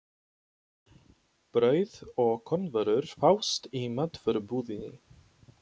Brauð og kornvörur fást í matvörubúðinni.